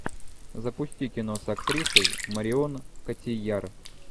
запусти кино с актрисой марион котийяр